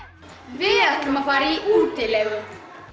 við ætlum að fara í útilegu